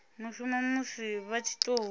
mushumo musi vha tshi tou